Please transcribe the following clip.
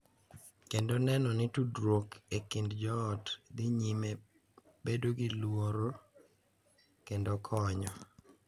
Kendo neno ni tudruok e kind joot dhi nyime bedo gi luor kendo konyo,